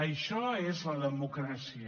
això és la democràcia